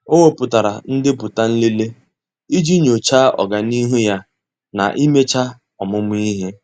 Ọ́ wèpụ̀tárà ndepụta nlele iji nyòcháá ọ́gànihu ya na íméchá ọ́mụ́mụ́ ihe.